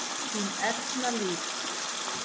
Þín Erna Líf.